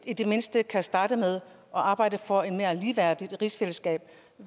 i det mindste kan starte med at arbejde for et mere ligeværdigt rigsfællesskab